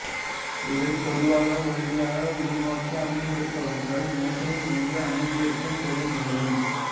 இவை பொதுவாக ஒல்லியாக உள்நோக்கி அமர்ந்திருப்பவர்கள் மேசையின் முன்பு அமர்ந்திருக்கும் போது நிகழும்